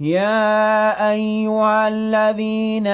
يَا أَيُّهَا الَّذِينَ